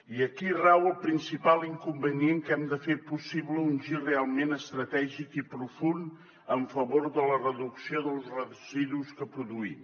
i aquí rau el principal inconvenient que hem de fer possible un gir realment estratègic i profund en favor de la reducció dels residus que produïm